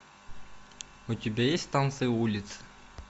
у тебя есть танцы улиц